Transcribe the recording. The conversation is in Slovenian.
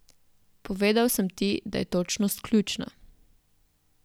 Povedal sem ti, da je točnost ključna.